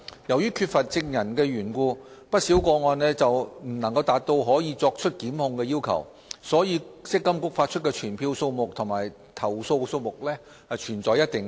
由於缺乏證人的緣故，不少個案未能符合作出檢控的要求，以致積金局發出的傳票數目和投訴數目存在一定落差。